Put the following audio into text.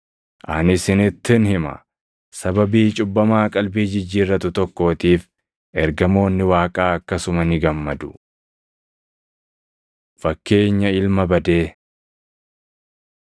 Ani isinittin hima; sababii cubbamaa qalbii jijjiirratu tokkootiif ergamoonni Waaqaa akkasuma ni gammadu.” Fakkeenya Ilma Badee